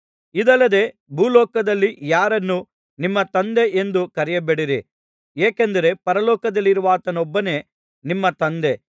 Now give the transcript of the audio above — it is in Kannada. ಇದಲ್ಲದೆ ಭೂಲೋಕದಲ್ಲಿ ಯಾರನ್ನೂ ನಿಮ್ಮ ತಂದೆ ಎಂದು ಕರೆಯಬೇಡಿರಿ ಏಕೆಂದರೆ ಪರಲೋಕದಲ್ಲಿರುವಾತನೊಬ್ಬನೇ ನಿಮ್ಮ ತಂದೆ